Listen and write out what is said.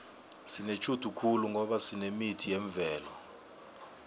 sinetjhudu khulu ngoba sinemithi yemvelo